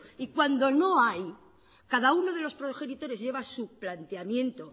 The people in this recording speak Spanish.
y cuando no hay cada uno de los progenitores lleva su planteamiento